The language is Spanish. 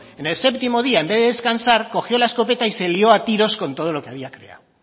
en el séptimo día en vez de descansar cogió la escopeta y se lio a tiros con todo lo que había creado